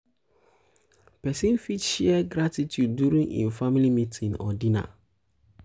person fit share gratitude during im family meeting or dinner